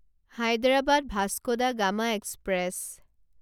Hyderabad Vasco da Gama express